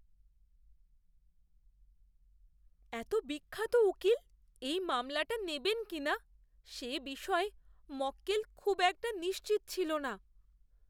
এত বিখ্যাত উকিল এই মামলাটা নেবেন কি না, সে বিষয়ে মক্কেল খুব একটা নিশ্চিত ছিল না।